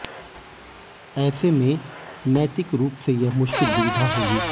ऐसे में नैतिक रूप से यह मुश्किल दुविधा होगी